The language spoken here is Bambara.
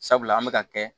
Sabula an bɛ ka kɛ